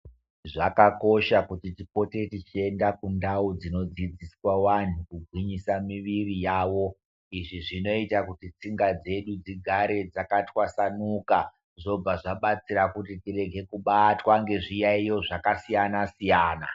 Zvakosha kuti tipote tichienda kundau dzinodzidziswa vantu kugwinyisa miviri yavo. Izvi zvinota kuti tsinga dzedu dzigare dzakatwasanuka zvobva zvabatsira kuti tirenge kubatwa ngezviyaiyo zvakasiyana-siyana.